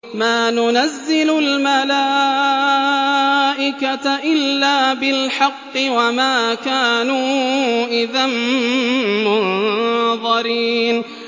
مَا نُنَزِّلُ الْمَلَائِكَةَ إِلَّا بِالْحَقِّ وَمَا كَانُوا إِذًا مُّنظَرِينَ